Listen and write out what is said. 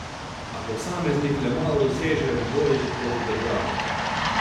A posameznik le malo doseže v boju proti državi.